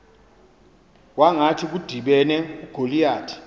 kwangathi kudibene ugoliyathi